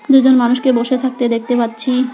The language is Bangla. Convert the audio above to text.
দুজন মানুষকে বসে থাকতে দেখতে পাচ্ছি।